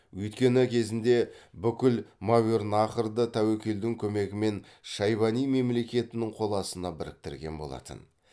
өйткені кезінде бүкіл мәуернахрды тәуекелдің көмегімен шайбани мемлекетінің қол астына біріктірген болатын